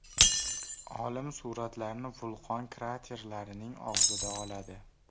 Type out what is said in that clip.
Olim suratlarni vulqon kraterlarining og‘zida oladi.